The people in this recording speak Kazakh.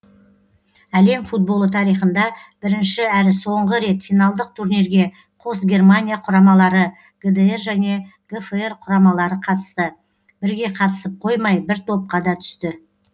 әлем футболы тарихында бірінші әрі соңғы рет финалдық турнирге қос германия құрамалары гдр және гфр құрамалары қатысты бірге қатысып қоймай бір топқа да түсті